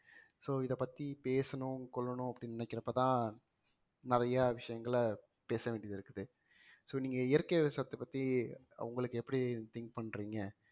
so இதைப்பத்தி பேசணும் கொள்ளணும் அப்படின்னு நினைக்கிறப்பதான் நிறைய விஷயங்களை பேச வேண்டியது இருக்குது so நீங்க இயற்கை விவசாயத்தைப் பத்தி உங்களுக்கு எப்படி think பண்றீங்க